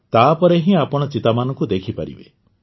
ତା ପରେ ହିଁ ଆପଣ ଚିତାମାନଙ୍କୁ ଦେଖିପାରିବେ